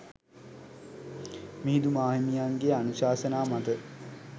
මිහිඳු මාහිමියන්ගේ අනුශාසනා මත